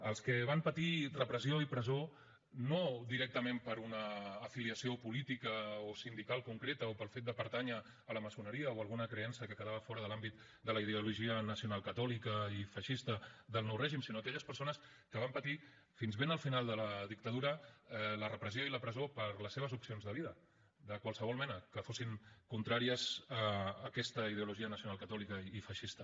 als que van patir repressió i presó no directament per una afiliació política o sindical concreta o pel fet de pertànyer a la maçoneria o a alguna creença que quedava fora de l’àmbit de la ideologia nacional catòlica i feixista del nou règim sinó aquelles persones que van patir fins ben al final de la dictadura la repressió i la presó per les seves opcions de vida de qualsevol mena que fossin contràries a aquesta ideologia nacional catòlica i feixista